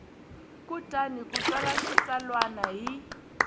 kutani u tsala xitsalwana hi